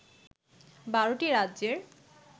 ১২ টি রাজ্যের